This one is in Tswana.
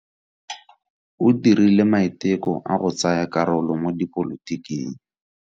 O dirile maiteko a go tsaya karolo mo dipolotiking.